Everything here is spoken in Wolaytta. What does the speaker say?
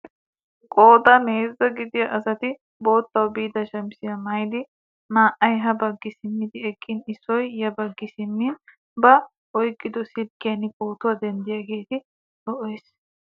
Qoodan heezzaa gidiyaa asati boottawu biida shamisiyaa maayidi naa"ay ha baggi simmidi eqqin issoy ya baggi simmi ba oyqqido silkkiyaan pootuwaa denttiyaagee lo"ees!